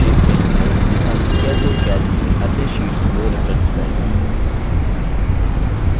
संक्षेप में हमने सीखा कि कैसे: calc में अन्य शीट्स को reference करें